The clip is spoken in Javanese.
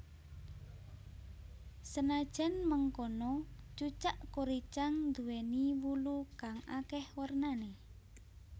Senajan mengkono cucak kuricang nduwèni wulu kang akèh warnané